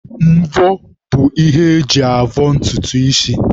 Mvọ bụ ihe eji avọ ntutu isi